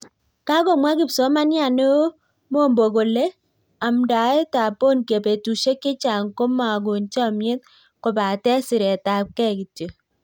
Kakomwaa Kipsomaniat neo Mombo kolee amdaet ap Bonnke petusiek chechang komaagon chamyet kopatee siret ap kei kityo